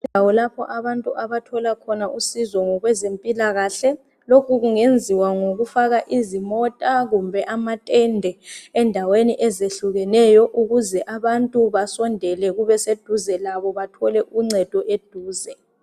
Indawo lapho abantu abathola khona usizo ngokwezempilakahle lokhu kungeziwa ngokufaka izimota kumbe amatende endaweni ezehlukeneyo ukuze abantu basondele kubeseduzelabo bathole uncedo eduze.